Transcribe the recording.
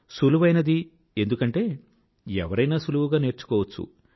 సులువైనది ఎందుకంటే ఎవరైనా సులువుగా నేర్చుకోవచ్చు